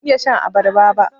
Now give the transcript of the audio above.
Ban iya shan abarba ba.